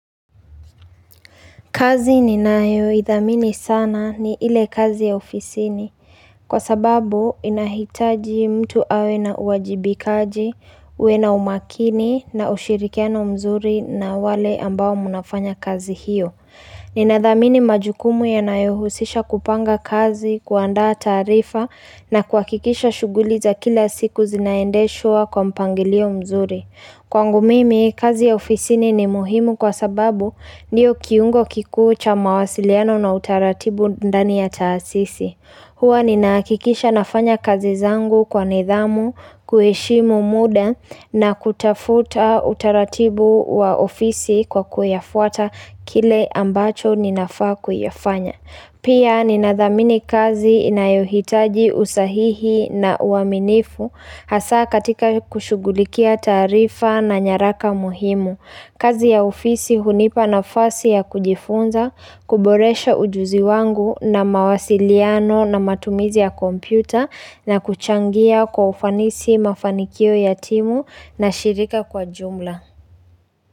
Kazi ni nayo idhamini sana ni ile kazi ya ofisini kwa sababu inahitaji mtu awe na uwajibikaji, uena umakini na ushirikiano mzuri na wale ambao munafanya kazi hiyo. Ninadhamini majukumu yanayohusisha kupanga kazi, kuanda tarifa na kuakikisha shuguliza kila siku zinaendeshwa kwa mpangilio mzuri. Kwangu mimi, kazi ya ofisini ni muhimu kwa sababu niyo kiungo kikucha mawasiliano na utaratibu ndani ya taasisi. Hwa ni nakikisha nafanya kazi zangu kwa nidhamu, kueshimu muda na kutafuta utaratibu wa ofisi kwa kuyafuata kile ambacho ninafaa kuyafanya. Pia ninadhamini kazi inayohitaji usahihi na uaminifu hasa katika kushugulikia tarifa na nyaraka muhimu. Kazi ya ofisi hunipa nafasi ya kujifunza, kuboresha ujuzi wangu na mawasiliano na matumizi ya kompyuta na kuchangia kwa ufanisi mafanikio yatimu na shirika kwa jumla.